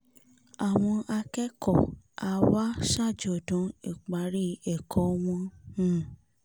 àwọn akẹ́kọ̀ọ́ aáwa ṣàjọ̀dún ìparí ẹ̀kọ́ wọn um